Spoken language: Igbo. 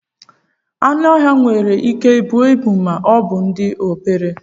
Anụ ọhịa nwere Ike buo ịbu ma ọbụ dị obere